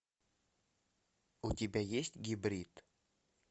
у тебя есть гибрид